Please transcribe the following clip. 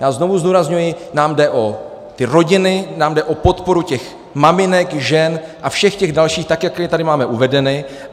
Já znovu zdůrazňuji, nám jde o ty rodiny, nám jde o podporu těch maminek, žen a všech těch dalších, tak jak je tady máme uvedeny.